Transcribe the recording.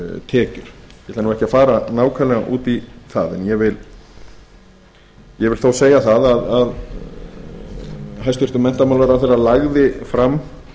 tekjur ég ætla ekki að fara nákvæmlega út í það en vil þó segja að hæstvirtur menntamálaráðherra lagði fram